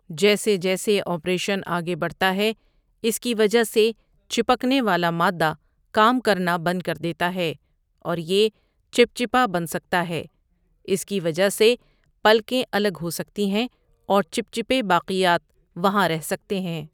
جیسے جیسے آپریشن آگے بڑھتا ہے اس کی وجہ سے چپکنے والا مادہ کام کرنا بند کردیتا ہے اور یہ چپچپا بن سکتا ہے، اس کی وجہ سے پلکیں الگ ہو سکتی ہیں، اور چچپے باقیات وہاں رہ سکتے ہیں۔